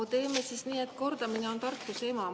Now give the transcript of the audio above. No teeme siis nii, et kordamine on tarkuse ema.